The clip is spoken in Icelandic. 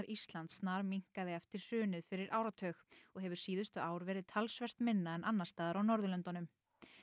Íslands eftir hrunið fyrir áratug og hefur síðustu ár verið talsvert minna en annars staðar á Norðurlöndum